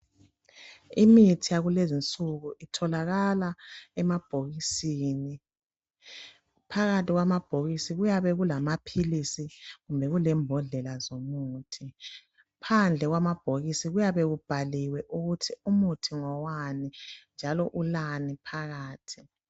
Imithi yakulezinsuku itholakala emabhokisini , phakathi kwamabhokisi kuyabe kulamaphilisi kumbe kulembodlela zomuthi. Phandle kwamabhokisi kuyabe kubhaliwe ukuthi umuthi ngowani njalo kulani phakathi.